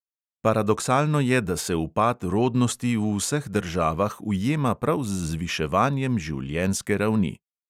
Paradoksalno je, da se upad rodnosti v vseh državah ujema prav z zviševanjem življenjske ravni.